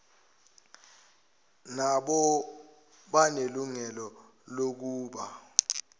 nabo banelungelo lokuba